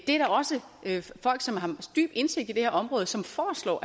er også folk som har dyb indsigt i det her område som foreslår